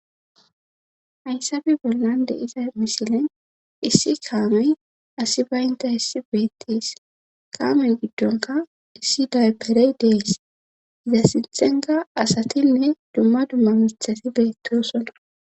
hayssabi bollande iza misilen issi kaamey asi baynta issi beettees kaamey giddonka issi daberey dees iza sintenka asatinne dumma dumma mithati beettosona